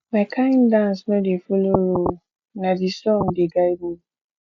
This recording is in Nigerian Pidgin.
my kain dance no dey folo rule na di song dey guide me